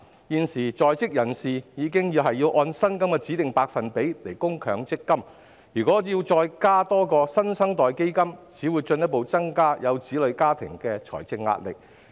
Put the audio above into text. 現時在職人士已須按薪金的指定百分比供強制性公積金，如果再增設"新生代基金"，只會進一步增加有子女家庭的財政壓力。